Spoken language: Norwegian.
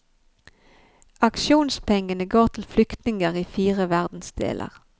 Aksjonspengene går til flyktninger i fire verdensdeler.